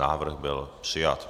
Návrh byl přijat.